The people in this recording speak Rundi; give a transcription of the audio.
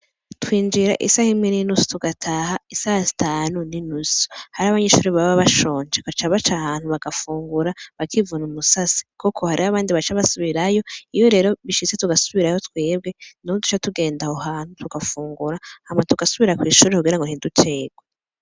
Twinjira isaha imwe ninusu tugataha isaha zitanu ninusu hariho abanyeshure baba bashonje baca baca ahantu bagafungura bakivuna umusasa kuko hariho abandi baca basubirayo iyo rero bishitse tugasubirayo twebwe niho catugenda aho hantu tugafungura hama tugasubira kwishure ntiducerwe.